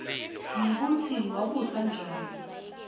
nekutsi wabusa njani